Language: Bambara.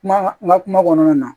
Kuma ka kuma kɔnɔna na